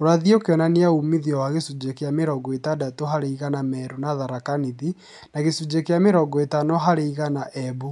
ũrathi ũkionania umithio wa gĩcunjĩ kĩa mĩrongo ĩtandatũ harĩ igana Meru na Tharaka Nithi na gĩcunjĩ kĩa mĩrongo ĩtano harĩ igana Embu